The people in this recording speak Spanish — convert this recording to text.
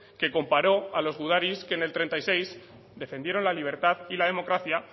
que comparó a los gudaris que en el treinta y seis defendieron la libertad y la democracia